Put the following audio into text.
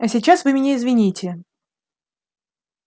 а сейчас вы меня извините